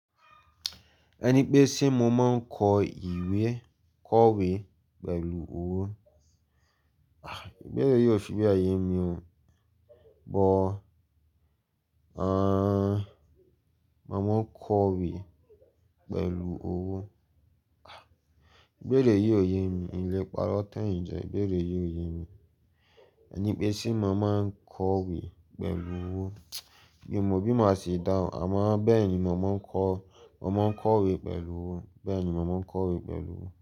Ẹni pé tí mo máa ń kọ ìwé kọ̀wé pẹ̀lú owó, ahh! Ìbéèrè yìí ò fi be ye mi o. Ọ̀, mo máa ń kọ̀wé pẹ̀lú owó. Ìbéèrè yìí ò ye mi, n lé paro tan yin jẹ, ìbéèrè yìí ò ye mi. Ẹni pé se mo máa ń kọ̀wé pẹ̀lú owó, bí mo bí máa ṣe dáhùn, àmọ́ bẹ́ẹ̀ ni mo máa ń kọ̀wé pẹ̀lú owó, bẹ́ẹ̀ ni mo máa ń kọ̀wé pẹ̀lú owó.